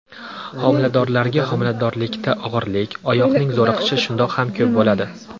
Xomiladorlarga Xomiladorlikda og‘irlik, oyoqning zo‘riqishi shundoq ham ko‘p bo‘ladi.